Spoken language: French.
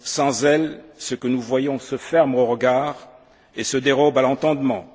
Sans elle, ce que nous voyons se ferme au regard et se dérobe à l'entendement.